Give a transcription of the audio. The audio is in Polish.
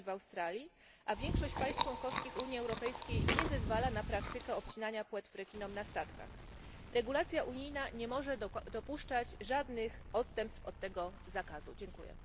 w USA i Australii, a większość państw członkowskich Unii Europejskiej nie zezwala na praktykę obcinania płetw rekinom na statkach. Regulacja unijna nie może dopuszczać żadnych odstępstw od tego zakazu. Dziękuję.